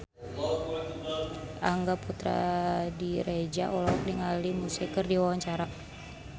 Angga Puradiredja olohok ningali Muse keur diwawancara